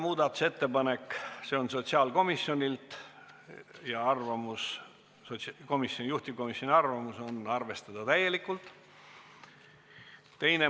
Muudatusettepanek nr 1 on sotsiaalkomisjonilt, juhtivkomisjoni arvamus: arvestada täielikult.